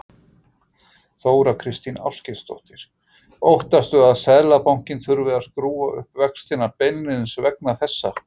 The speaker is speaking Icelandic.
Þóra Kristín Ásgeirsdóttir: Óttastu að Seðlabankinn þurfi að skrúfa upp vextina beinlínis vegna þessa?